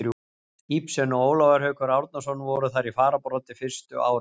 Ibsen og Ólafur Haukur Árnason voru þar í fararbroddi fyrstu árin.